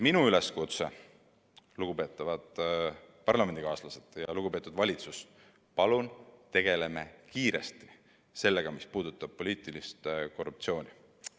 Minu üleskutse, lugupeetud parlamendikaaslased ja valitsus, on järgmine: palun tegeleme kiiresti sellega, mis puudutab poliitilist korruptsiooni!